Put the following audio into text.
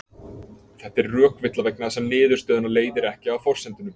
Þetta er rökvilla vegna þess að niðurstöðuna leiðir ekki af forsendunum.